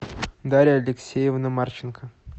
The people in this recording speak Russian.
дарья алексеевна марченко